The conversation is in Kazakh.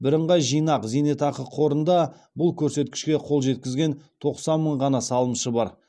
бірынғай жинақ зейнетақы қорында бұл көрсеткішке қол жеткізген тоқсан мың ғана салымшы бар